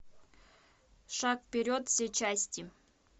шаг вперед все части